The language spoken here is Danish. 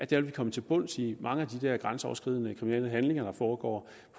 vil vi komme til bunds i mange af de der grænseoverskridende kriminelle handlinger der foregår